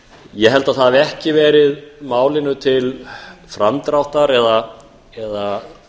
ég held að það hafi ekki verið málinu til framdráttar eða